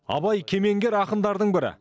абай кемеңгер ақындардың бірі